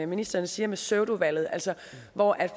ministeren sagde med pseudovalget altså hvor